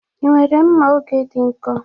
Ị nwere mma oge dị nkọ?